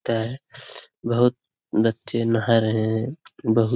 बहुत बच्चे नहा रहे हैं बहुत --